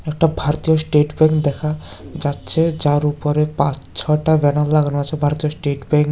এটা ভারতীয় state bank দেখা যাচ্ছে যার উপরে পাঁচ ছটা ব্যানার লাগানো আছে ভারতের স্টেট ব্যাংক --